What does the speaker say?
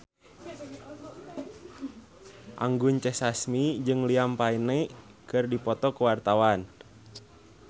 Anggun C. Sasmi jeung Liam Payne keur dipoto ku wartawan